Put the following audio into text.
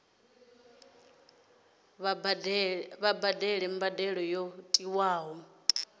kha vha badele mbadelo yo tiwaho